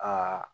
Aa